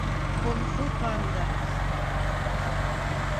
кунг фу панда